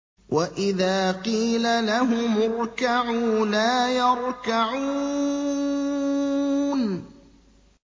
وَإِذَا قِيلَ لَهُمُ ارْكَعُوا لَا يَرْكَعُونَ